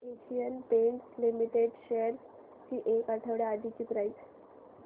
Asian Paints limited shares ची एक आठवड्या आधीची प्राइस